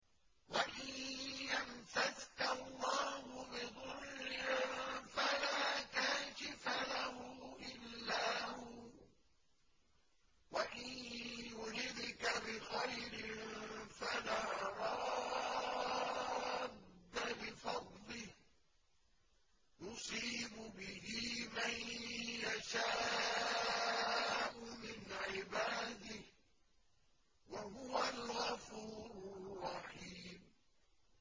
وَإِن يَمْسَسْكَ اللَّهُ بِضُرٍّ فَلَا كَاشِفَ لَهُ إِلَّا هُوَ ۖ وَإِن يُرِدْكَ بِخَيْرٍ فَلَا رَادَّ لِفَضْلِهِ ۚ يُصِيبُ بِهِ مَن يَشَاءُ مِنْ عِبَادِهِ ۚ وَهُوَ الْغَفُورُ الرَّحِيمُ